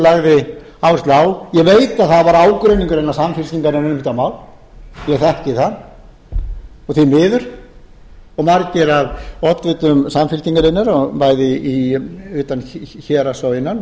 lagði áherslu á ég veit að það var ágreiningur innan samfylkingarinnar um þetta mál ég þekki það og því miður og margir af oddvitum samfylkingarinnar bæði utan héraðs og innan